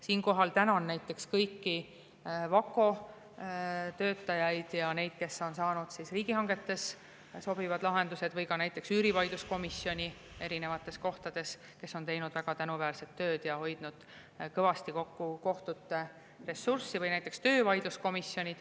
Siinkohal tänan kõiki VAKO töötajaid ja neid, kes on saanud riigihangetes sobivad lahendused, või ka näiteks üürivaidluskomisjoni, kes on teinud väga tänuväärset tööd ja hoidnud kõvasti kokku kohtute ressurssi, ja töövaidluskomisjone.